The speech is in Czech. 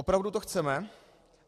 Opravdu to chceme?